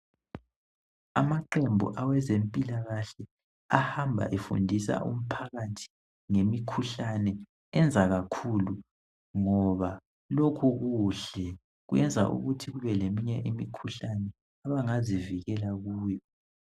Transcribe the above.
Amaqembu awezempilakahle ahamba efundisa umphakathi ngemikhuhlane benza kakhulu ngoba lokhu kuhle kwenza ukuthi kube leminye imikhuhlane abangazivikela kuyo.